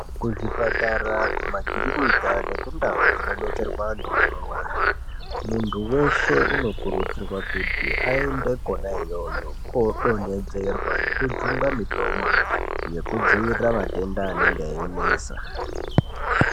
Kuzvipatara ,kumakirinika nekundau dzinobetserwa anhu anorwara munhu weshe unokurudzirwe kuti aende kona iyoyo kodonhedzerwa nekujungwa mitombo yekudzivirira matenda anenge einesa.